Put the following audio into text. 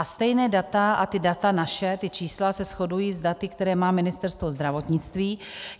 A stejná data a ta data naše, ta čísla, se shodují s daty, která má Ministerstvo zdravotnictví.